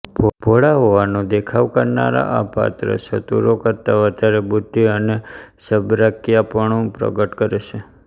ભોળા હોવાનો દેખાવ કરનાર આ પાત્ર ચતુરો કરતા વધારે બુદ્ધિ અને ચબરાકિયાપણું પ્રગટ કરે છે